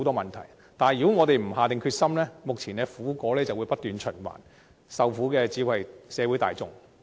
如不下定決心，目前的苦果便會不斷循環，受苦的只會是社會大眾。